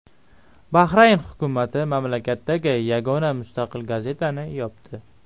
Bahrayn hukumati mamlakatdagi yagona mustaqil gazetani yopdi.